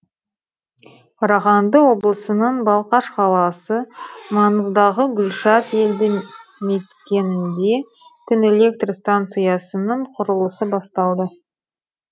қарағанды облысының балқаш қаласы маңындағы гүлшат елді мекенінде күн электр станциясының құрылысы басталды